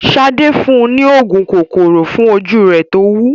Sadé fún un ní òògùn kòkòrò fún ojú rẹ̀ tówú.